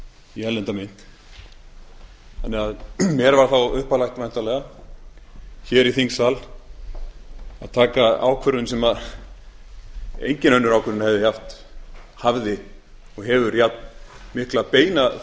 í erlenda mynt mér var þá uppálagt væntanlega í þingsal að taka ákvörðun sem engin önnur ákvörðun hafði og hefur jafnmikla beina